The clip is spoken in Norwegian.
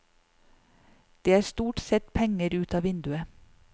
Det er stort sett penger ut av vinduet.